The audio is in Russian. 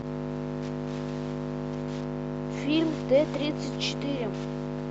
фильм т тридцать четыре